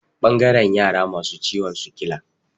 Ɓangaren yara masu ciwon sikila.